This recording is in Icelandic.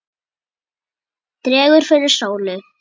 Dregur fyrir sólu